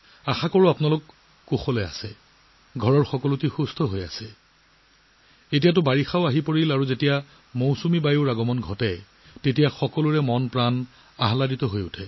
আশাকৰোঁ আপোনালোক সকলোৰে ভাল ঘৰৰ সকলোৰে ভাল আৰু এতিয়া বাৰিষাও আহিছে আৰু যেতিয়া বাৰিষা আহে তেতিয়া মনটোও আনন্দিত হয়